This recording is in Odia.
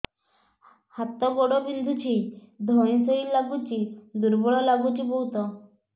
ହାତ ଗୋଡ ବିନ୍ଧୁଛି ଧଇଁସଇଁ ଲାଗୁଚି ଦୁର୍ବଳ ଲାଗୁଚି ବହୁତ